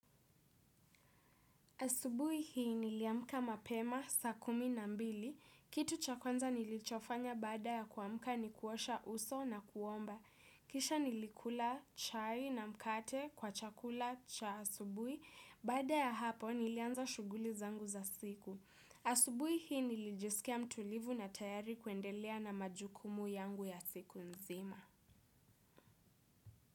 Asubui hii niliamka mapema saa kumi na mbili. Kitu cha kwanza nilichofanya baada ya kuamka ni kuosha uso na kuomba. Kisha nilikula chai na mkate kwa chakula cha asubui. Baada ya hapo nilianza shuguli zangu za siku. Asubui hii nilijisikia mtulivu na tayari kuendelea na majukumu yangu ya siku nzima.